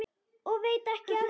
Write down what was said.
Og veit ekki af því.